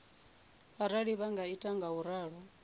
arali vha sa ita ngauralo